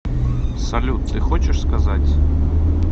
салют ты хочешь сказать